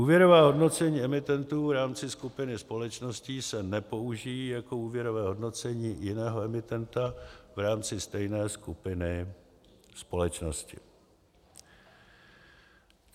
Úvěrová hodnocení emitentů v rámci skupiny společností se nepoužijí jako úvěrová hodnocení jiného emitenta v rámci stejné skupiny společnosti.